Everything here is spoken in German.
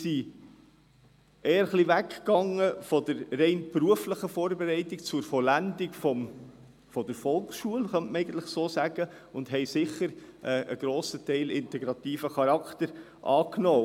Diese sind von der Vorbereitung weggekommen und haben sich zur Vollendung der Volksschule hingewendet, und zu einem grossen Teil haben sie sicher auch einen integrativen Charakter angenommen.